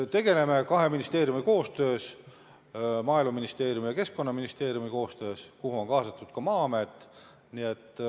Tegeleme sellega kahe ministeeriumi koostöös, Maaeluministeeriumi ja Keskkonnaministeeriumi koostöös, kuhu on kaasatud ka Maa-amet.